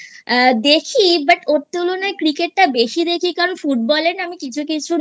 দেখি But ওর তুলনায় Cricket টা বেশি দেখি কারণ Football এর আমি কিছু কিছু